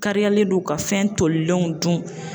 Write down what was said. Kariyalen don ka fɛn tolilenw dun.